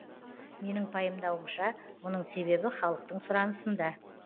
менің пайымдауымша мұның себебі халықтың сұранысында